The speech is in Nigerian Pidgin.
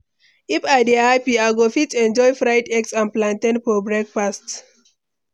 If I dey happy, I go fit enjoy fried eggs and plantain for breakfast.